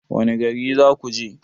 Wanne gari zakuje?